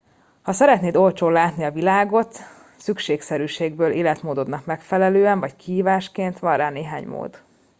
ha szeretnéd olcsón látni a világot szükségszerűségből életmódodnak megfelelően vagy kihívásként van rá néhány mód